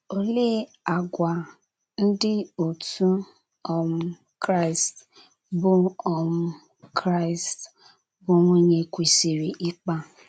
Olee àgwà ndị otú um Kraịst bụ́ um Kraịst bụ́ nwunye kwesịrị ịkpa?